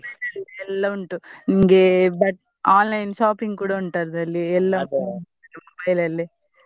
Mobile ಅಲ್ಲಿ ಎಲ್ಲ ಉಂಟು. ನಿಮ್ಗೆ ಬ~ online shopping ಕೂಡಾ ಉಂಟ್ ಅದ್ರಲ್ಲಿ ಎಲ್ಲ ಕೂಡಾ mobile ಅಲ್ಲೆ.